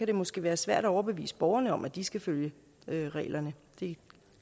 det måske være svært at overbevise borgerne om at de skal følge reglerne det